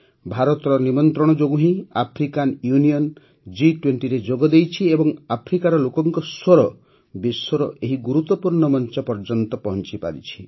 ଭାରତର ନିମନ୍ତ୍ରଣ ଯୋଗୁଁ ହିଁ ଆଫ୍ରିକାନ ୟୁନିୟନ ଜି୨୦ରେ ଯୋଗ ଦେଇଛି ଏବଂ ଆଫ୍ରିକାର ଲୋକଙ୍କ ସ୍ୱର ବିଶ୍ୱର ଏହି ଗୁରୁତ୍ୱପୂର୍ଣ୍ଣ ମଂଚ ପର୍ଯ୍ୟନ୍ତ ପହଂଚିପାରିଛି